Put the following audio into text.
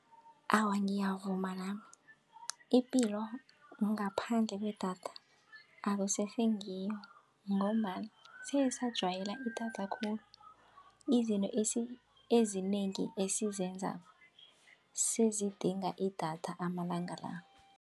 Awa, ngiyavuma nami ipilo ngaphandle kwedatha akusese ngiyo ngombana sesajwayela idatha khulu. Izinto ezinengi esiyenzako sezidinga idatha amalanga la.